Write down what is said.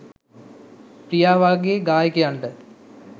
ප්‍රියා වගේ ගායකයන්ට